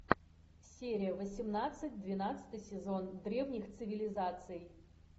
серия восемнадцать двенадцатый сезон древних цивилизаций